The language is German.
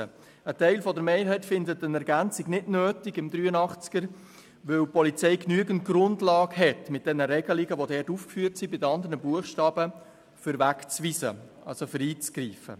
Ein Teil der Mehrheit findet eine Ergänzung von Artikel 83 nicht nötig, weil die Polizei mit den Regelungen, die bei den anderen Buchstaben aufgeführt sind, genügend Grundlagen für Wegweisungen hat.